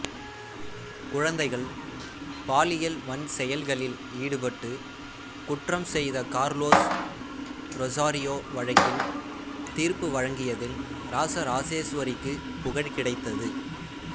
குழந்தைகள் பாலியல் வன்செயல்களில் ஈடுபட்டு குற்றம் செய்த கார்லோஸ் ரொசாரியோ வழக்கில் தீர்ப்பு வழங்கியதில் இராசராசேசுவரிக்குப் புகழ் கிடைத்தது